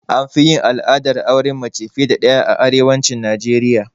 Anfi yin al'adar auren mace fiye da ɗaya a arewacin Najeriya